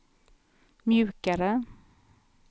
mjukare